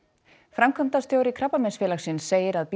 framkvæmdastjóri Krabbameinsfélagsins segir að